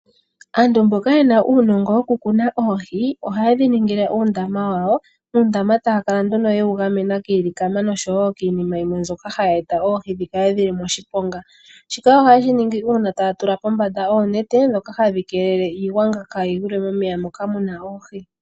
Aantu mboka yena uunongo woku tekula oohi ohaye dhi ningile uundama wawo, uundama mbono taya kala nduno yewu gamena kiilikama noshowo kiinima yimwe mbyoka hayi eta oohi dhi kale dhili moshiponga. Shika ohaye shi ningi uuna taya tula kombanda oonete ndhoka hadhi keelele iigwanga kaayi gwile momeya moka muna oohi.